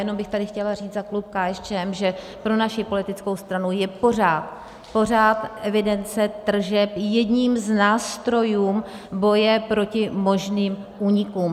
Jenom bych tady chtěla říct za klub KSČM, že pro naši politickou stranu je pořád evidence tržeb jedním z nástrojů boje proti možným únikům.